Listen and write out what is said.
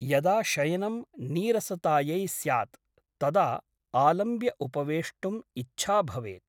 यदा शयनं नीरसतायै स्यात् तदा आलम्ब्य उपवेष्टुम् इच्छा भवेत् ।